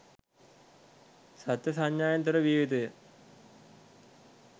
සත්ව සංඥාාවෙන් තොර විය යුතුය.